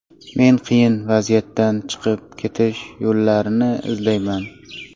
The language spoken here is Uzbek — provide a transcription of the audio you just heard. Men qiyin vaziyatdan chiqib ketish yo‘llarini izlayman.